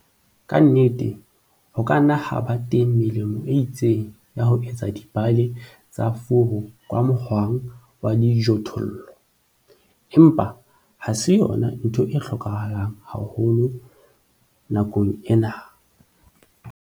Ke nnete, ho ka nna ha ba teng melemo e itseng ya ho etsa dibale tsa furu ka mohwang wa dijothollo, empa ha se yona ntho e hlokahalang haholo nakong ena.